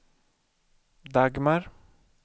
Dagmar